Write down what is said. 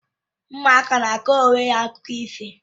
Ụmụaka na akọrọ onwe ha akụkọ ifo